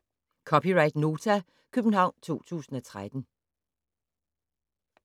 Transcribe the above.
(c) Nota, København 2013